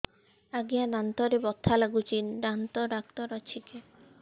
ଆଜ୍ଞା ଦାନ୍ତରେ ବଥା ଲାଗୁଚି ଦାନ୍ତ ଡାକ୍ତର ଅଛି କି